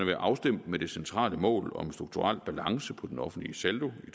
være afstemt med det centrale mål om en strukturel balance på den offentlige saldo i